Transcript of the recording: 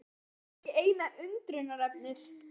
En það var ekki eina undrunarefnið.